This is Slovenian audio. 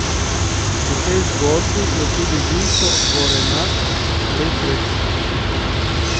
V tej zgodbi je tudi Vinko Gorenak le sredstvo.